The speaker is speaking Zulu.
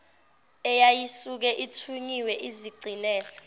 eyayisuke ithunyiwe izigcinele